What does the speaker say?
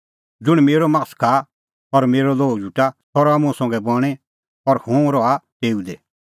ज़ुंण मेरअ मास खाआ और मेरअ लोहू झुटा सह रहा मुंह संघै बणीं और हुंह रहा तेऊ दी